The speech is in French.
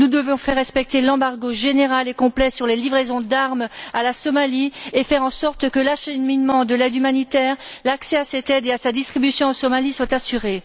Nous devons faire respecter l'embargo général et complet sur les livraisons d'armes à la Somalie et faire en sorte que l'acheminement de l'aide humanitaire, l'accès à cette aide et à sa distribution en Somalie soient assurés.